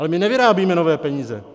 Ale my nevyrábíme nové peníze.